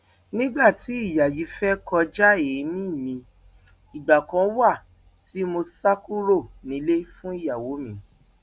nígbà tí ìyá yìí fẹẹ kọjá èmi mi ìgbà kan wà tí mo sá kúrò nílé fún ìyàwó mi